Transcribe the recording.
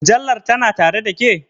Mujallar tana tare ɗa ke?